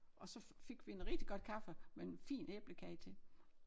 Og så fik vi en rigtig godt kaffe med en fin æblekage til